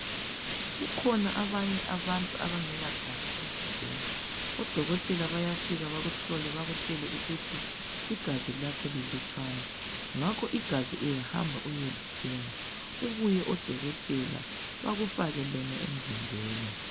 Kukhona abanye abantu abangelagazi emzimbeni. Odokotela bayafika bakuhlole. Bakutshele ukuthi igazi lakho lilutshwana. Ngakho igazi uyahamba uyelithenga. Kubuye odokotela, bakufake lona emzimbeni.